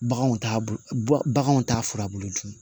Baganw t'a bɔ baganw t'a furabulu dun